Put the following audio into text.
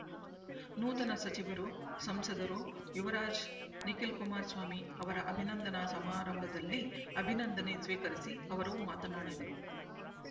ನೂತನ ಸಚಿವರು ಸಂಸದರು ಯುವರಾಜ ನಿಖಿಲ್‍ಕುಮಾರಸ್ವಾಮಿ ಅವರ ಅಭಿನಂದನಾ ಸಮಾರಂಭದಲ್ಲಿ ಅಭಿನಂದನೆ ಸ್ವೀಕರಿಸಿ ಅವರು ಮಾತನಾಡಿದರು